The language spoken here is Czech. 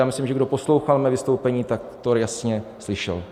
Já myslím, že kdo poslouchal mé vystoupení, tak to jasně slyšel.